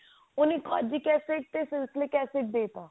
ਉਹਨੇ acid ਤੇ acid ਦੇਤਾ